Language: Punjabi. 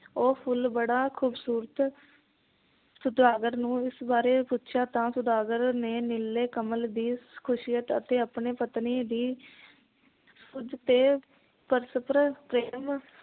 ਉਹ ਫੁਲ ਬੜਾ ਖੂਬਸੂਰਤ ਸੌਦਾਗਰ ਨੂੰ ਇਸ ਬਾਰੇ ਪੁੱਛਿਆਂ ਤਾਂ ਸੌਦਾਗਰ ਨੇ ਨੀਲੇ ਕਮਲ ਦੀ ਖ਼ੁਸ਼ੀਅਤ ਅਤੇ ਆਪਣੀ ਪਤਨੀ ਦੀ ਪਰਸਪਰ ਪ੍ਰੇਮ